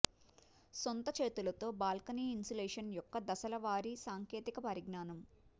సొంత చేతులతో balcony insulation యొక్క దశల వారీ సాంకేతిక పరిజ్ఞానం